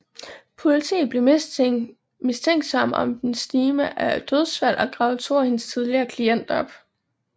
Politiet blev mistænksomme om den stime af dødsfald og gravede to af hendes tidligere klienter op